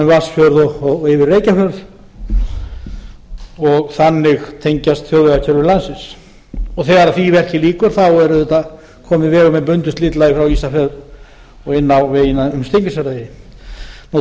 vatnsfjörð og yfir reykjafjörð og þannig tengjast þjóðvegakerfi landsins þegar því verki lýkur þá er auðvitað kominn vegur með bundnu slitlagi frá ísafirði og inn á vegina um steingrímsfjarðarheiði